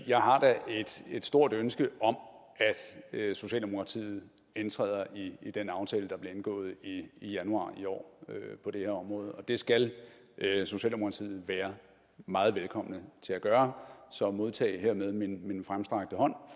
jeg har da et stort ønske om at socialdemokratiet indtræder i den aftale der blev indgået i januar i år på det her område det skal socialdemokratiet være meget velkommen til at gøre så modtag hermed min fremstrakte hånd